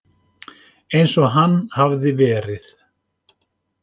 Eins og hann hafði verið.